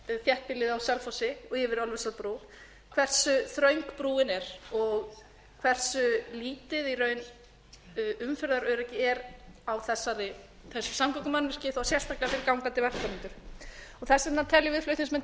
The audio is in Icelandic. þéttbýlið á selfossi og yfir ölfusárbrú hversu þröng brúin er og hversu lítið í raun umferðaröryggi er á þessu samgöngumannvirki og þó sérstaklega fyrir gangandi vegfarendur þess vegna teljum við flutningsmenn